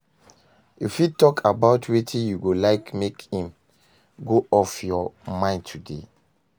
You fit talk about wetin you go like make im go off your mind today?